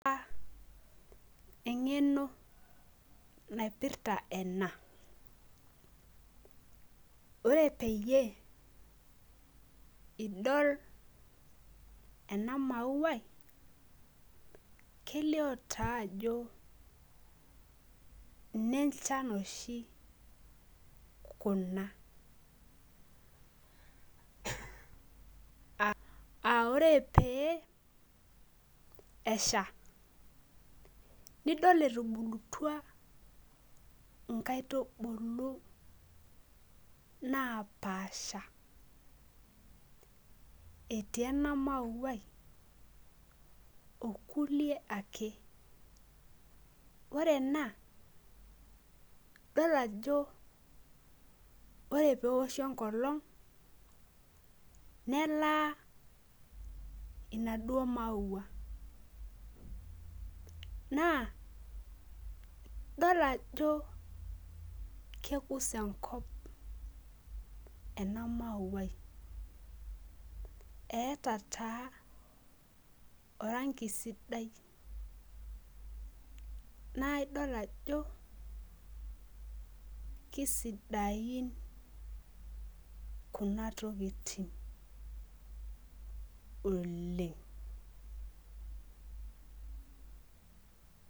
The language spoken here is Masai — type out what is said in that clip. Eng'eno naipirta ena, ore peyie, idol ena mayai, kelio taa ajo ine nchan oshi kuna.aa ore pee esha, nidol etubulutua inkaitubulu napaasha. etii ena mauia okulie ake. ore ena idol ajo ore peeoshi enkolong'.nelaa inaduoo maua. naa idol ajo kekus enkop ena mayai. eeta taa oranki sidai. naa idol ajo kisidain Kuna tokitin oleng.